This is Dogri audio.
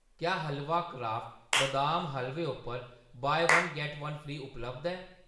क्या हलवा क्राफ्ट बदाम हलवे उप्पर 'buy one get one free' उपलब्ध ऐ ?